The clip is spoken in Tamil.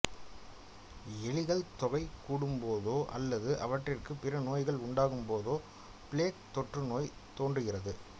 எலிகள் தொகை கூடும்போதோ அல்லது அவற்றிற்கு பிற நோய்கள் உண்டாகும்போதோ பிளேக் தொற்றுநோய் தோன்றுகின்றது